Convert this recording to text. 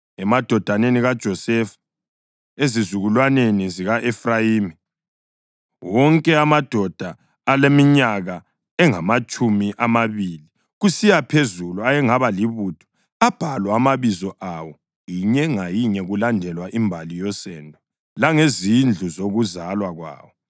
Emadodaneni kaJosefa: Ezizukulwaneni zika-Efrayimi: Wonke amadoda aleminyaka engamatshumi amabili kusiya phezulu ayengaba libutho abhalwa amabizo awo, inye ngayinye, kulandelwa imbali yosendo langezindlu zokuzalwa kwawo.